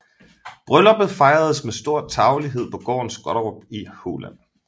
Brylluppet fejredes med stor tarvelighed på gården Skottorp i Halland